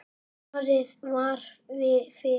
Farið var fyrir